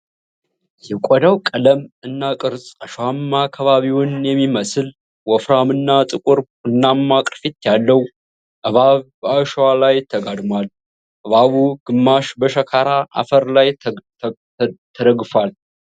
የቆዳው ቀለም እና ቅርፅ አሸዋማ ከባቢውን የሚመስል፣ ወፍራም እና ጥቁር ቡናማ ቅርፊት ያለው እባብ በአሸዋው ላይ ተጋድሟል። እባቡ ግማሽ በሸካራ አፈር ላይ ተደግፏል።